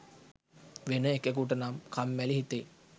වෙන එකෙකුටනම් කම්මැලි හිතෙයි